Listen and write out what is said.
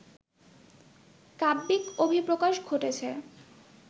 কাব্যিক অভিপ্রকাশ ঘটেছে